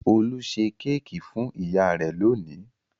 Olú ṣe kéékì fún ìyá rẹ̀ lónìí.